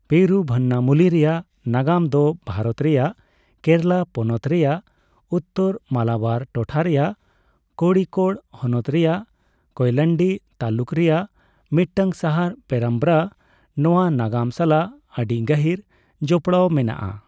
ᱯᱮᱨᱩᱵᱷᱟᱱᱱᱟᱢᱩᱞᱤ ᱨᱮᱭᱟᱜ ᱱᱟᱜᱟᱢ ᱫᱚ ᱵᱷᱟᱨᱚᱛ ᱨᱮᱭᱟᱜ ᱠᱮᱨᱟᱞᱟ ᱯᱚᱱᱚᱛ ᱨᱮᱭᱟᱜ ᱩᱛᱛᱚᱨ ᱢᱟᱞᱟᱵᱟᱨ ᱴᱚᱴᱷᱟ ᱨᱮᱭᱟᱜ ᱠᱚᱲᱤᱠᱳᱰ ᱦᱚᱱᱚᱛ ᱨᱮᱭᱟᱜ ᱠᱳᱭᱮᱞᱟᱱᱰᱤ ᱛᱟᱞᱩᱠ ᱨᱮᱭᱟᱜ ᱢᱤᱫᱴᱟᱝ ᱥᱟᱦᱟᱨ ᱯᱮᱨᱟᱢᱵᱨᱟᱼᱱᱚᱣᱟ ᱱᱟᱜᱟᱢ ᱥᱟᱞᱟᱜ ᱟᱹᱰᱤ ᱜᱟᱹᱦᱤᱨ ᱡᱚᱯᱲᱟᱣ ᱢᱮᱱᱟᱜᱼᱟ ᱾